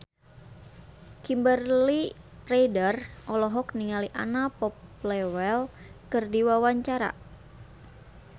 Kimberly Ryder olohok ningali Anna Popplewell keur diwawancara